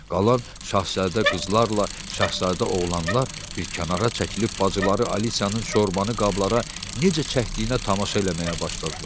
Qalan şahzadə qızlarla şahzadə oğlanlar bir kənara çəkilib bacıları Alisiyanın şorbanı qablara necə çəkdiyinə tamaşa eləməyə başladılar.